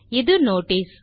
இது நோட்டிஸ்